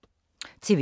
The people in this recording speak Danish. TV 2